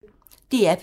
DR P1